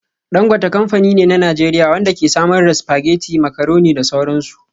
Dangote kamfani ne na Najeriya wanda ke samar da spaghetti, macaroni da sauran su.